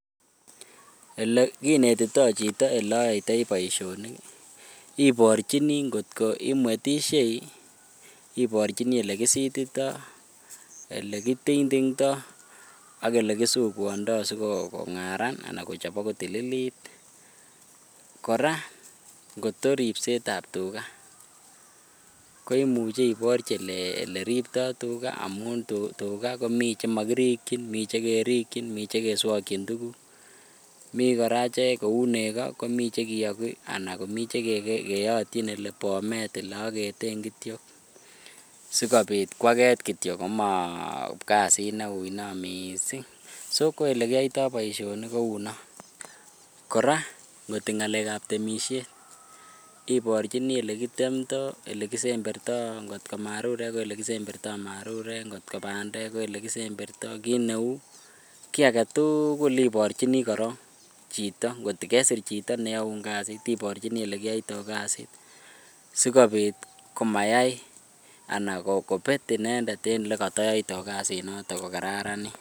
Elekinetitoi chito eleyoitoi boishoni oborchini ngo'ot ko imwetishei, oborchini elekisitito, elekiting'tingto ak elekisukuondo sikong'aran anan sikochobok kotililit, kora ng'ot ko ribsetab tukaa koimuche iborchi elekiriptoi tukaa amun tukaa komii chemokirikyin komii chemokirikyin Mii chekeswokyin tukuk, mii kora cheuu nekoo komii chekiyoki anan komii chekeyotyin elebomet eleoketen kityo sikobit kwaket kityo koma kasit neo mising non, so ko elekiyoito boishoni kounon, kora ngot ko ng'alekab temishet ibirchini elekitemto, elekisemberto ngo't ko marurek ko elekisemberto marurek, ng'ot ko bandek ko elekisemberto kii neuu kii aketukul ibirchini chito ng'ot ko kesir chito neyoun kasit ibirchini elekiyoito kasit sikobit komayam anan kobet inendet en elekotoyoito kasinoton ko kararanit.